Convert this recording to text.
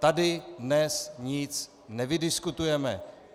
Tady dnes nic nevydiskutujeme.